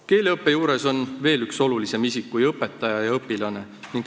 Keeleõppe juures on veel üks olulisem isik kui õpetaja ja õpilane.